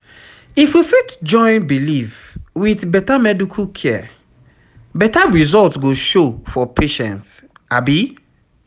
if we fit join belief with medical care better result go show for patient